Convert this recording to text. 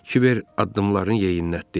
Kibər addımlarını yeyinlətdi.